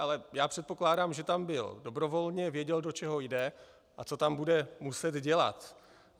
Ale já předpokládám, že tam byl dobrovolně, věděl, do čeho jde a co tam bude muset dělat.